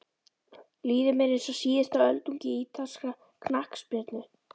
Líður mér eins og síðasta öldungi ítalskrar knattspyrnu?